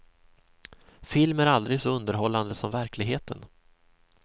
Film är aldrig så underhållande som verkligheten.